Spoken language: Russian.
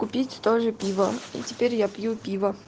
купить тоже пиво и теперь я пью пиво